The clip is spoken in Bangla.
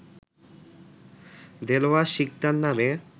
দেলোয়ার শিকদার নামে